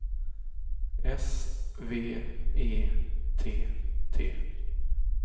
S V E T T